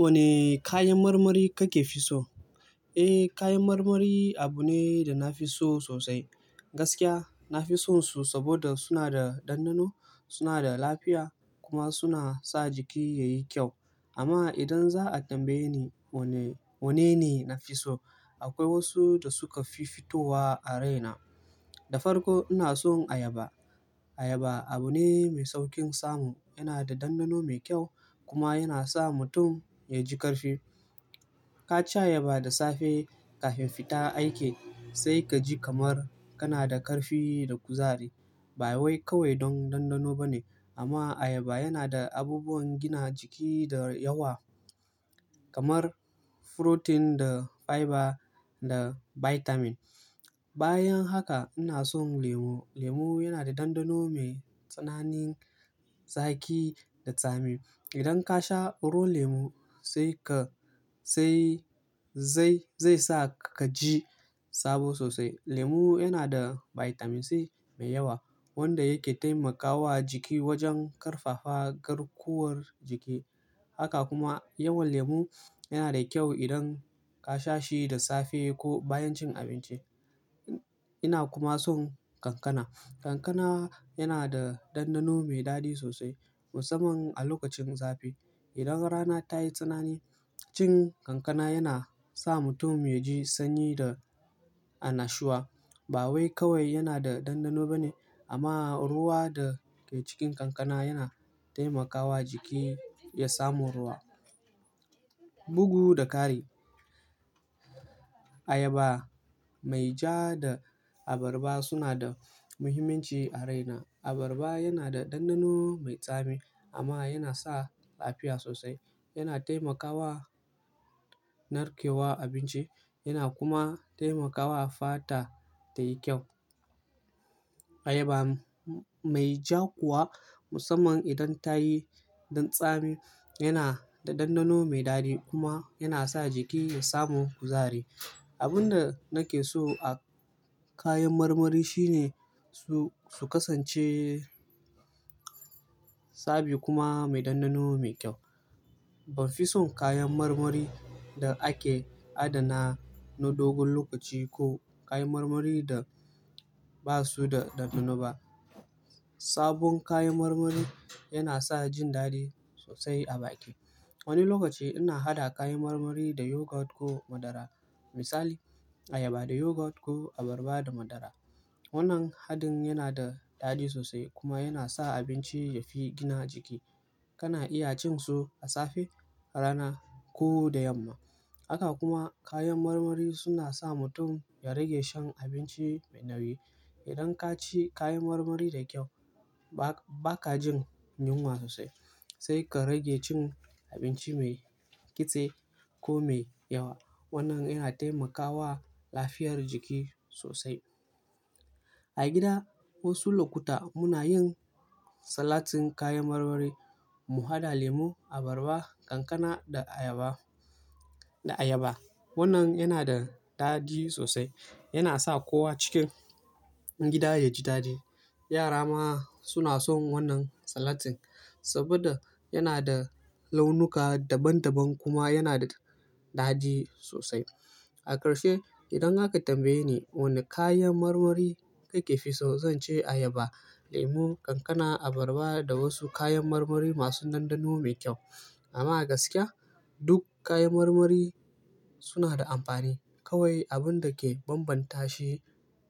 Wane kayan marmari kake fi so? Eh, kayan marmari abu ne da na fi so sosai. Gaskiya, na fi son su saboda suna da ɗannano, suna da lafiya, kuma suna sa jiki yayi kyau. Amma idan za a tambaye ni wane, wane ne na fi so, akwai wasu da suka fi fitowa a raina. Da farko ina son ayaba. Ayaba, abu ne mai saukin samu, yana da dandano mai kyau, kuma yana sa mutum yaji karfi. Ka ci ayaba da safe, kafin fita aiki sai ka ji kamar kana da ƙarfi da kuzari. Ba wai kawai don dandano ba ne, amma ayaba yana da abubuwan gina jiki da yawa, kamar protein da fiber da vitamin. Bayan haka, ina son lemu. Lemu yana da dandano mai tsananin zaki da tsami. Idan ka sha ruwa lemu, sai ka, sai zai, zai sa ka ji sabo sosai. Lemu yana da vitamin C mai yawa, wanda yake taimakawa jiki wajen karfafa garkuwar jiki. Haka kuma, yawan lemu yana da kyau idan ka sha shi da safe, ko bayan cin abinci. Ina kuma son kankana. Kankana yana da ɗannano mai daɗi sosai musamman a lokacin zafi. Idan rana tayi tsanani, cin kankana yana sa mutum yaji sanyi da annashuwa. Ba wai kawai yana da dandano ba ne, amma ruwa da ke cikin kankana yana taimakawa jiki ya samu ruwa. Bugu da kari, ayaba mai ja, da abarba suna da muhimmanci a raina. Abarba yana da ɗannano mai tsami amma yana sa lafiya sosai. Yana taimakawa narkewa abinci, yana kuma taimakawa fata tayi kyau. Ayaba mai ja kuwa, musamman idan ta yi dan tsami, yana da dandano mai dadi, kuma yana sa jiki ya samu kuzari. Abin da nake so a kayan marmari shine su, su kasance, sabi kuma mai ɗan ɗnano mai kyau. Ban fi son kayan marmari da ake adana na dogon lokaci ko kayan marmari da ba su da ɗan ɗano ba. Sabon kayan marmari yana sa jin daɗi sosai a baki. Wani lokaci ina haɗa kayan marmari da yoghurt ko madara. Misali ayaba da yoghurt ko abarba da madara. Wannan hadin yana da daɗi sosai kuma yana sa abinci yafi gina jiki. Kana iya cin su a safe, rana ko da yamma. Haka kuma kayan marmari suna sa mutum ya rage shan abinci mai nauyi. Idan ka ci kayan marmari da kyau ba, ba ka jin yunwa sosai. Sai ka rage cin abinci mai kitse ko mai yawa. Wannan yana taimakawa lafiyar jiki sosai. A gida wasu lokuta muna yin salatin kayan marmari. Mu haɗa lemu, abarba, kankana da ayaba, da ayaba. Wannan yana da daɗi sosai. Yana sa kowa cikin gida yaji daɗi. Yara ma suna son wannan salatin saboda yana da launuka daban daban kuma yana da daɗi sosai. A ƙarshe idan aka tambaye ni wane kayan marmari kake fi so? Zan ce ayaba, lemu, kankana, abarba da wasu kayan marmari masu ɗan ɗano mai kyau. Amma a gaskiya duk kayan marmari suna da amfani. Kawai abun da ke bambanta shi,